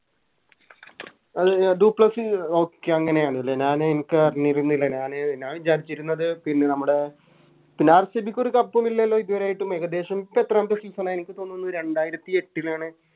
do Plessis Okay അങ്ങനെ ആണല്ലേ ഞാന് എൻക്ക് അറിഞ്ഞിരുന്നില്ല ഞാന് ഞാൻ വിചാരിച്ചിരുന്നത് പിന്നെ നമ്മുടെ അഹ് RCB ക്ക് ഒരു Cup ഉം ഇല്ലല്ലോ ഇതുവരെയായിട്ടും ഇപ്പൊ എത്രാമത്തെ Season ആ എനിക്ക് തോന്നുന്നു രണ്ടായിരത്തി എട്ടിലാണ്